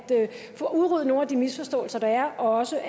få udryddet nogle af de misforståelser der er og også